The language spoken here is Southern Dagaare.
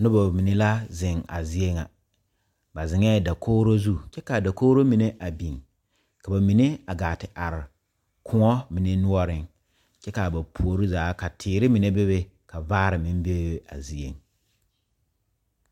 Noba mine la zeŋ a zie ŋa ,ba zeŋ la dakogro zu kyɛ ka a dakogro mine beŋ ka mine gaa te are koɔ mine noɔreŋ kaa ba puori zaa ka teere mine bebe vaare meŋ bee a zie.